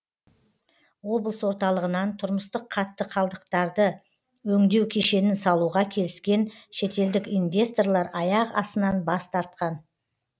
облыс орталығынан тұрмыстық қатты қалдықтарды өңдеу кешенін салуға келіскен шетелдік инвесторлар аяқ астынан бас тартқан